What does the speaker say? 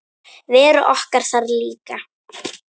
Vera okkar þar líka.